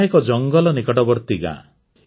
ଏହା ଏକ ଜଙ୍ଗଲ ନିକଟବର୍ତ୍ତୀ ଗାଁ